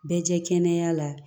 Bɛɛ kɛ kɛnɛya la